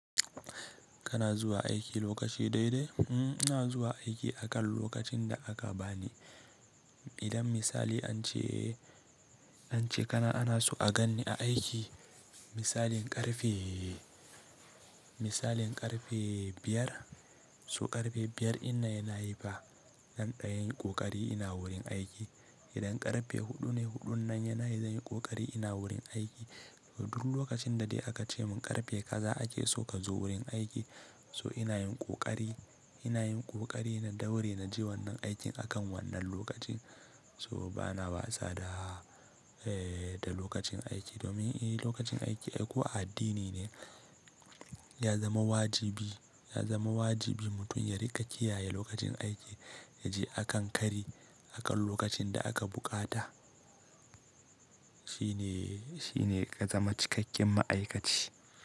Kana zuwa aiki lokaci daidai? Uhmm, ina zuwa aiki akan lokacin da aka bani. Idan misali ance, ance kana ana so a ganni a aiki. Misalin ƙarfe, misalin ƙarfe biyar, so ƙarfe biyar ina yana yi fa, nan ɗayan yi ƙoƙari ina wurin aiki. Idan ƙarfe huɗu ne, huɗun nan yana yi zan yi ƙoƙari ina wurin aiki. Duk lokacin da dai aka ce mun ƙarfe kaza ake so ka zo wurin aiki, so ina yin ƙoƙari, ina yin ƙoƙari na daure na je wannan aikin akan wannan lokacin. So bana watsa da, eh, da lokacin aiki domin eh lokacin aiki, ai, ko a addini ne ya zama wajibi, ya zama wajibi mutum ya riƙa kiyaye lokacin aiki ya je akan kari akan lokacin da aka buƙata. Shi ne, shi ne ka zama cikakken ma'aikaci.